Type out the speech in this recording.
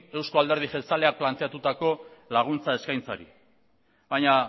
euzko alderdi jeltzaleak planteatuta laguntza eskaintzari baina